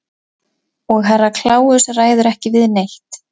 Og Herra Kláus ræður ekki við neitt.